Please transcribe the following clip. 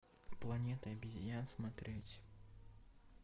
планета обезьян смотреть